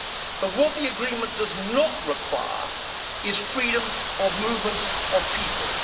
But what the agreement does not require is freedom of movement of people.